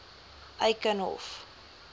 eikenhof